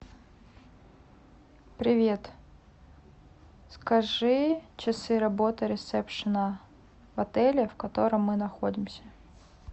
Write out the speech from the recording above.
привет скажи часы работы ресепшена в отеле в котором мы находимся